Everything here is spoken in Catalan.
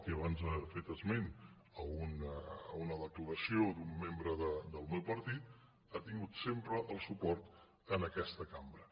i abans ha fet esment d’una declaració d’un membre del meu partit ha tingut sempre el suport en aquesta cambra